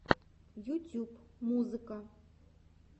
ютюб музыка